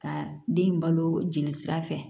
Ka den in balo jeli sira fɛ